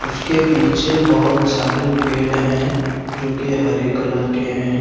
उसके पीछे बहुत सारे पेड़ हैं जो कि हरे कलर के हैं।